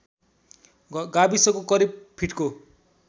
गाविसको करिब फिटको